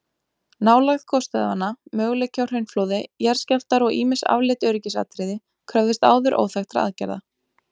Nálægð gosstöðvanna, möguleiki á hraunflóði, jarðskjálftar og ýmis afleidd öryggisatriði kröfðust áður óþekktra aðgerða.